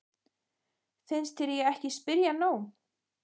Finnst þér ég ekki spyrja nóg?